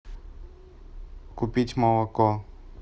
купить молоко